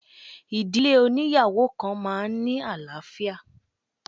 Ìdílé óníyàwó kan máa ń ní àlàáfíà.